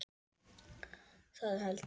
Það held ég